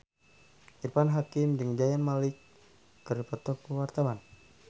Irfan Hakim jeung Zayn Malik keur dipoto ku wartawan